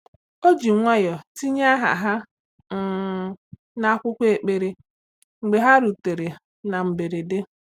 O ji nwayọọ tinye aha ha um n’akwụkwọ ekpere mgbe ha rutere na mberede.